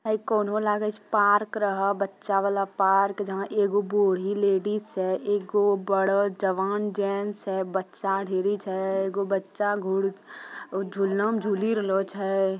है कोनो हो लागे छै पार्क रह बच्चा वाला पार्क । जहाँ एगो बूढ़ी लेडीस छे। एगो बड़ा जवान जेन्स छे बच्चा ढ़ेरी छे एगो बच्चा घुड़ उ झूल्लम झूली रालों छे।